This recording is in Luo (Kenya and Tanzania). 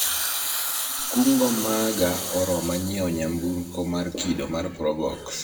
kungo maga oroma nyiewo nyamburko mar kido mar probox